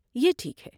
یہ ٹھیک ہے۔